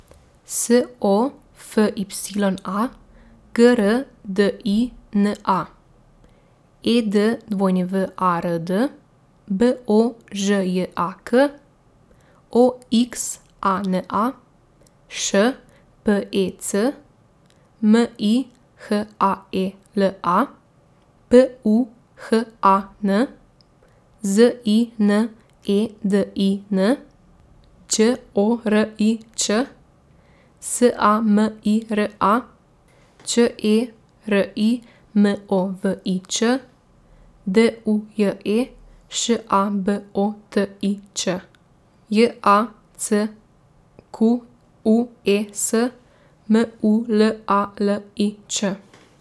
S O F Y A, G R D I N A; E D W A R D, B O Ž J A K; O X A N A, Š P E C; M I H A E L A, P U H A N; Z I N E D I N, Đ O R I Ć; S A M I R A, Ć E R I M O V I Ć; D U J E, Š A B O T I Ć; J A C Q U E S, M U L A L I Č.